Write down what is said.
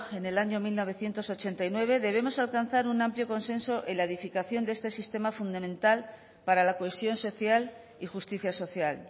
en el año mil novecientos ochenta y nueve debemos alcanzar un amplio consenso en la edificación de este sistema fundamental para la cohesión social y justicia social